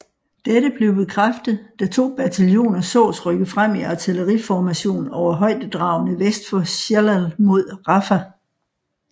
Dette blev bekræftet da to bataljoner sås rykke frem i artilleriformation over højdedragene vest for Shellal mod Rafah